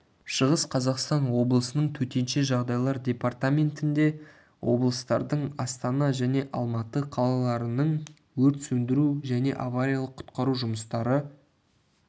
шығыс қазақстан облысының төтенше жағдайлар департаментінде облыстардың астана және алматы қалаларының өрт сөндіру және авариялық-құтқару жұмыстары